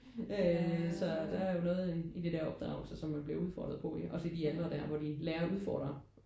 Øh så der er jo noget i i det der opdragelse som man bliver udfordret på og i de aldre der hvor de lærer at udfordre